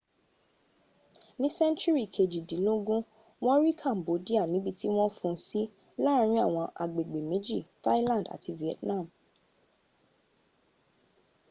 ní sẹ́ńtúrì kejìdínlógún wọ́n rí cambodia níbi tí wọ́n fún un sí láàrin àwọn agbègbè méjì thailand àti vietnam